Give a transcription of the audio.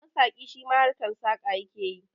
Masaƙi shima harkan saƙa yake yi